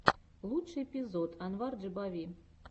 лучший эпизод анвар джибави